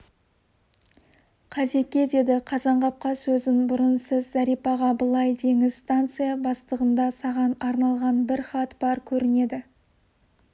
қазеке деді қазанғапқа сөзін бұрып сіз зәрипаға былай деңіз станция бастығында саған арналған бір хат бар көрінеді